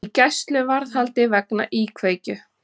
Í gæsluvarðhaldi vegna íkveikju